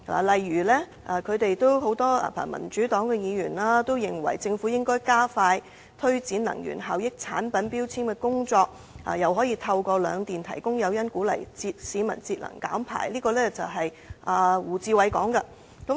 例如民主黨議員認為政府應加快推展能源效益產品標籤的工作，透過兩電提供誘因鼓勵市民節能減排，這是胡志偉議員的意見。